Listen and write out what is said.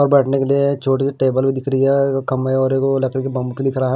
बैठने के लिए छोटी सी टेबल भी दिख रही है खम्बे है और वो लकड़ी के बमक दिख रहा है।